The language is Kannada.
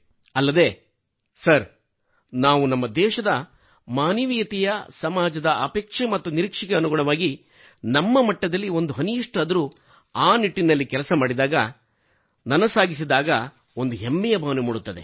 ಅಲ್ಲದೇ ಸರ್ ನಾವು ನಮ್ಮದೇಶದ ಮಾನವೀಯತೆಯ ಸಮಾಜದ ಅಪೇಕ್ಷೆ ಮತ್ತು ನಿರೀಕ್ಷೆಗೆ ಅನುಗುಣವಾಗಿ ನಮ್ಮ ಮಟ್ಟದಲ್ಲಿ ಒಂದು ಹನಿಯಷ್ಟಾದರೂ ಆ ನಿಟ್ಟಿನಲ್ಲಿ ಕೆಲಸ ಮಾಡಿದಾಗ ನನಸಾಗಿಸಿದಾಗ ಒಂದು ಹೆಮ್ಮೆಯ ಭಾವನೆ ಮೂಡುತ್ತದೆ